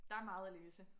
Der meget at læse